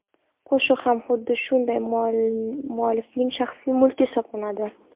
Qo‘shiq ham xuddi shunday muallifning shaxsiy mulki hisoblanadi.